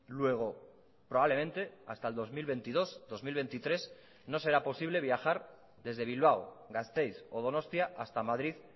luego probablemente hasta el dos mil veintidós dos mil veintitrés no será posible viajar desde bilbao gasteiz o donostia hasta madrid